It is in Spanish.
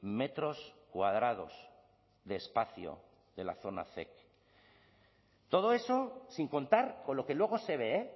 metros cuadrados de espacio de la zona zec todo eso sin contar con lo que luego se ve